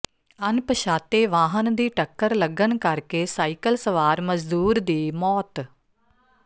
ਅਣਪਛਾਤੇ ਵਾਹਨ ਦੀ ਟੱਕਰ ਲੱਗਣ ਕਰਕੇ ਸਾਈਕਲ ਸਵਾਰ ਮਜ਼ਦੂਰ ਦੀ ਮੌਤ